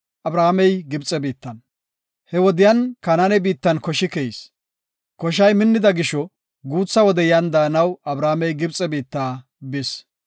He wode Kanaane biittan koshi keyis. Koshay minnida gisho guutha wode yan daanaw Abramey Gibxe biitta bis.